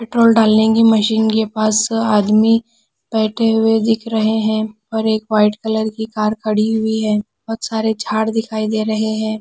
Petrol डालने की machine के पास अ आदमी बैठे हुए दिख रहे हैं पर एक वाइट कलर की कार खड़ी हुई है बहुत सारे झाड़ दिखाई दे रहे हैं।